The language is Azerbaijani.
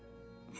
Başa düşürəm?